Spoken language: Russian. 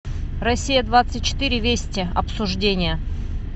россия двадцать четыре вести обсуждения